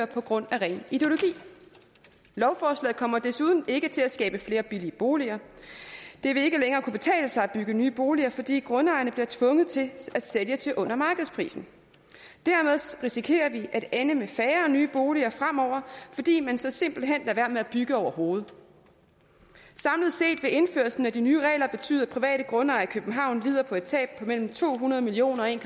på grund af ren ideologi lovforslaget kommer desuden ikke til at skabe flere billige boliger det vil ikke længere kunne betale sig at bygge nye boliger fordi grundejerne bliver tvunget til at sælge til under markedsprisen dermed risikerer vi at ende med færre nye boliger fremover fordi man så simpelt hen lader være med at bygge overhovedet samlet set vil indførelsen af de nye regler betyde at private grundejere i københavn lider et tab på mellem to hundrede million og en